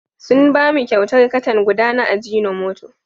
Sun ba mu kyautar katan guda na ajinomoto.